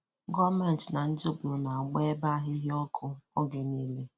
Gọọmentị na ndị obodo na-agbà ebe ahịhịa òkụ́ oge ọ̀bụ́la.